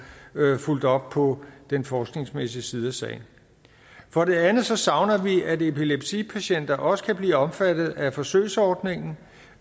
fulgt op på den forskningsmæssige side af sagen for det andet savner vi at epilepsipatienter også kan blive omfattet af forsøgsordningen